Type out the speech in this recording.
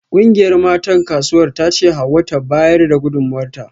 Kungiyar matan Kasuwar tace Hauwa ta bayar da gudunmawarta